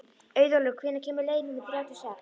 Auðólfur, hvenær kemur leið númer þrjátíu og sex?